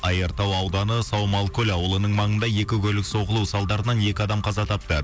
айыртау ауданы саумалкөл ауылының маңында екі көлік соғылу салдарынан екі адам қаза тапты